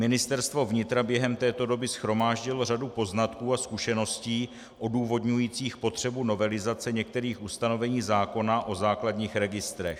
Ministerstvo vnitra během této doby shromáždilo řadu poznatků a zkušeností odůvodňujících potřebu novelizace některých ustanovení zákona o základních registrech.